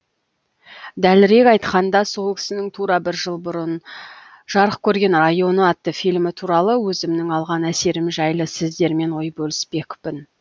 дәлірек айтқанда сол кісінің тура бір жыл бұрын жарық көрген районы атты фильмі туралы өзімнің алған әсерім жайлы сіздермен ой бөліспекпін